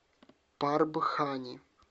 парбхани